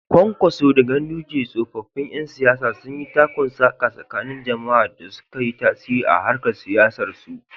Kwankwaso da Ganduje, tsoffin ƴan siyasa, sun yi takun-saƙa tsakanin jama’a da suka yi tasiri a harkar siyasarsu.